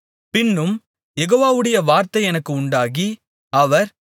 பின்னும் யெகோவாவுடைய வார்த்தை எனக்கு உண்டாகி அவர்